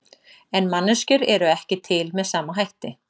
En manneskjur eru ekki til með sama hætti.